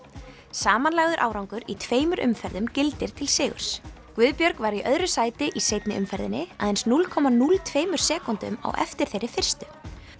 samanlagður árangur í tveimur umferðum gildir til sigurs Guðbjörg var í öðru sæti í seinni umferðinni aðeins núll komma núll tveimur sekúndum á eftir þeirri fyrstu